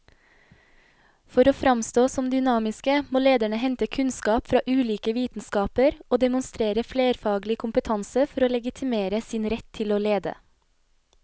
For å framstå som dynamiske må lederne hente kunnskap fra ulike vitenskaper og demonstrere flerfaglig kompetanse for å legitimere sin rett til å lede.